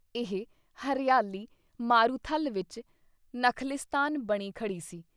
ਇਹ ਹਰਿਆਲੀ ਮਾਰੂਥਲ ਵਿੱਚ ਨਖ਼ਿਲਸਤਾਨ ਬਣੀ ਖੜ੍ਹੀ ਸੀ।